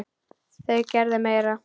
Þau gerðu meira.